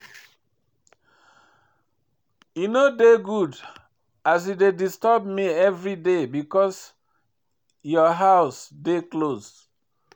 E no good as you dey disturb me everyday because your house dey close.